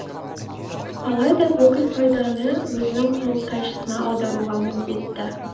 алайда бүкіл пайданы өзінің құрылтайшысына аударуға міндетті